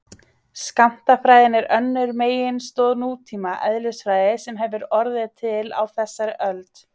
Skammtafræðin er önnur meginstoð nútíma eðlisfræði sem hefur orðið til á þessari öld.